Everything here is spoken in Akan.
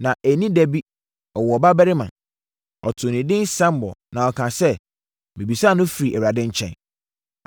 na anni da bi, ɔwoo ɔbabarima. Ɔtoo no edin Samuel na ɔkaa sɛ, “Mebisaa no firii Awurade nkyɛn.”